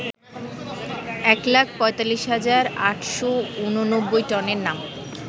একলাখ৪৫ হাজার ৮৮৯ টনে নাম